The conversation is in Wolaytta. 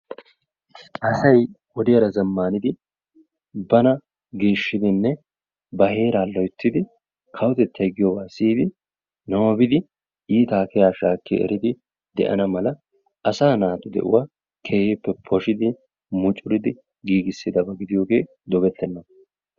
Asay wodiyaara zammnaidi bana geeshshidinne ba heeraa loyttidi kawotettay giyooba siyyidi, nababbidi, iitta keeha shaakki eridi de'ana mala asa naatu de'uwaa keehippe poshshidi muccuridi giigissidabaa giidiyooge dogetenna.